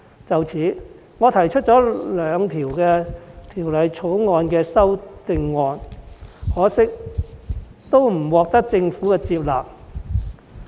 就此，我對《條例草案》提出了兩項擬議修正案，可惜都不獲政府接納。